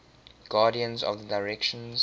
guardians of the directions